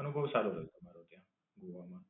અનુભવ સારો રહ્યો હતો મારો ત્યાં ગોવા માં.